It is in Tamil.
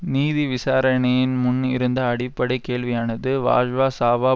நீதி விசாரணையின் முன் இருந்த அடிப்படை கேள்வியானது வாழ்வா சாவா